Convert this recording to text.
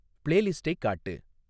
பிளேலிஸ்ட்டைக் காட்டு